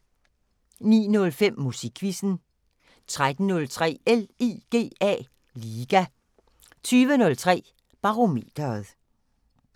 09:05: Musikquizzen 13:03: LIGA 20:03: Barometeret